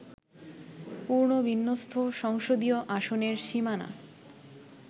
পুনর্বিন্যস্ত সংসদীয় আসনের সীমানা